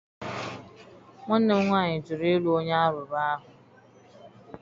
Nwanne m nwaanyị jụrụ ịlụ onye Alaụba ahụ